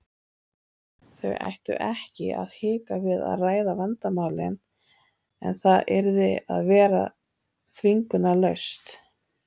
Þau ættu ekki að hika við að ræða vandamálin en það yrði að vera þvingunarlaust.